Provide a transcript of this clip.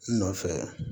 N nɔfɛ